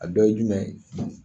A dɔ ye jumɛn ye